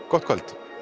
gott kvöld